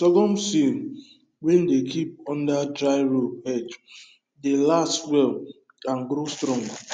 sorghum seed wey dem keep under dry roof edge dey last well and grow strong